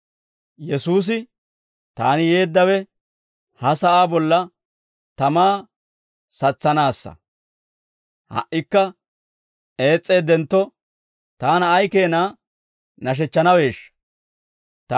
Yesuusi, «Taani yeeddawe, ha sa'aa bolla tamaa satsanaassa; ha"ikka ees's'eeddentto, taana ay keena nashechchanaweeshsha.